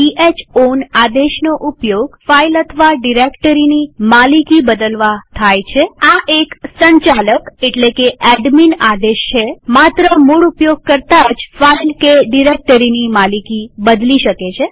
ch ઓન આદેશનો ઉપયોગ ફાઈલ અથવા ડિરેક્ટરીની માલિકી બદલવા થાય છેઆ એક સંચાલક એટલે કે એડમીન આદેશ છેમાત્ર મૂળ ઉપયોગકર્તા જ ફાઈલ કે ડિરેક્ટરીની માલિકી બદલી શકે છે